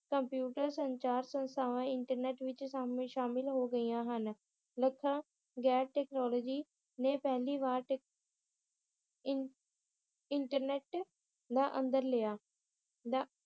computer ਸੰਚਾਰ ਸੰਸਥਾਵਾਂ internet ਵਿਚ ਸ਼ਾਮਿਲ ਹੋ ਗਈਆਂ ਹਨ ਲੱਖਾਂ ਗੈਰ ਟੈਕਨੋਲੋਜੀ ਨੇ ਪਹਿਲੀ ਵਾਰ ਟੇਕ~ ਇਨ~ ਇੰਟਰਨੇਟ ਦਾ ਅੰਦਰ ਲਿਆ ਦਾ~